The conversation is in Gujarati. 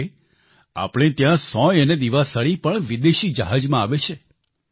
એટલે કે આપણે ત્યાં સોય અને દિવાસળી પણ વિદેશી જહાજમાં આવે છે